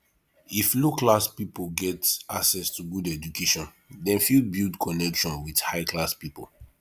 if low class pipo get access to good education dem fit build connection with high class pipo